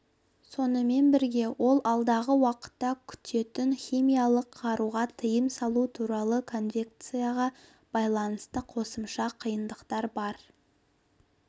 сонымен бірге ол алдағы уақытта күтетін химиялық қаруға тыйым салу туралы конвенцияға байланысты қосымша қиындықтар бар